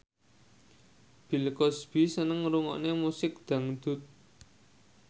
Bill Cosby seneng ngrungokne musik dangdut